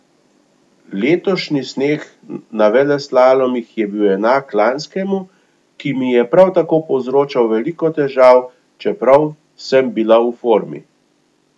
Letošnji sneg na veleslalomih je bil enak lanskemu, ki mi je prav tako povzročal veliko težav, čeprav sem bila v formi.